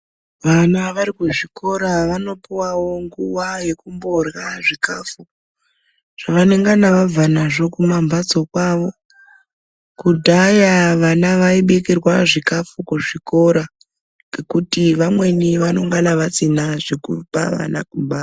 Vana vari kuzvikora vanopuwawo nguwa yekumborya zvikafu zvavanongana vabva nazvo kumambatso kwawo. Kudhaya vana vaibikirwa zvikafu kuzvikora ngekuti vamweni vanongana vasina zvekupa vana kumba.